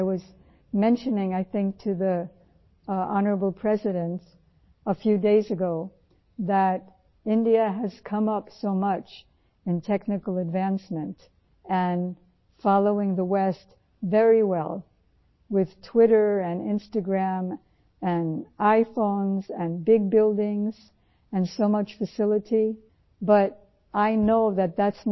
میں بتاتی ہوں کہ میں نے کچھ دن پہلے صدر جمہوریہ سے بات کی تھی کہ بھارت تکنیکی طورپر بہت تیزی سے آگے بڑھا ہے اور ٹوئیٹر انسٹاگرام اور آئی فون اور بڑی بڑی عمارتوں میں مغرب کی راہ پر آگے بڑھا ہے